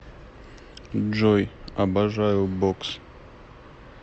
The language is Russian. джой обожаю бокс